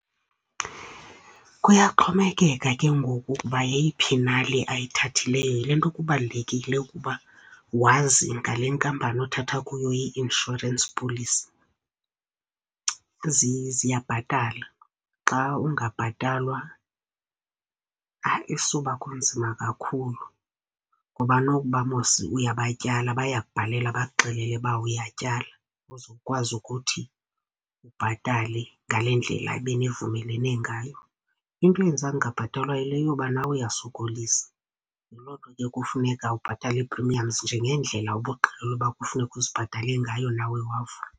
Kuyaxhomekeka ke ngoku ukuba yeyiphi na le ayithathileyo. Yile nto kubalulekile ukuba wazi ngale nkampani othatha kuyo i-insurance policy, ezi ziyabhatala. Xa ungabhatalwa, hayi isuba kunzima kakhulu. Ngoba nokuba mos uyabatyala, bayakubhalela bakuxelele uba uyatyala uzokwazi ukuthi ubhatale ngale ndlela benivumelene ngayo. Into eyenza ungabhatalwa yile yoba nawe uyasokolisa, yiloo nto ke kufuneka ubhatale i-premiums njengeendlela obuqheliluba kufuneka uzibhatale ngayo nawe wavuma.